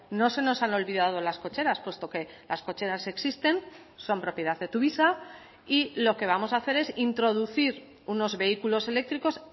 no se nos han olvidado las cocheras puesto que las cocheras existen son propiedad de tuvisa y lo que vamos a hacer es introducir unos vehículos eléctricos